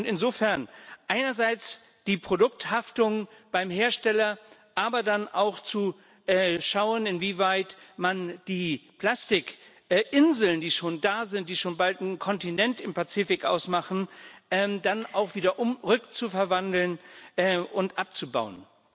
Insofern einerseits die Produkthaftung beim Hersteller, aber dann muss man auch schauen, inwieweit man die Plastikinseln, die schon da sind, die schon bald einen Kontinent im Pazifik ausmachen, dann auch wiederum rückverwandeln und abbauen